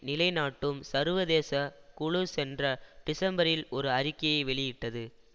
நிலை நாட்டும் சர்வதேச குழு சென்ற டிசம்பரில் ஒரு அறிக்கையை வெளியிட்டது